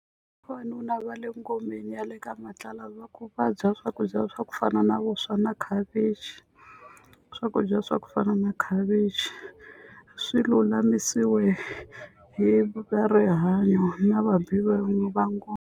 Vavanuna va le ngomeni ya le ka matlala va ku va dya swakudya swa ku fana na vuswa na khavichi swakudya swa ku fana na khavichi swi lulamisiwe hi va rihanyo na vabi va va ngoma.